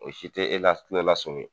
O si te e la kulola sɔmi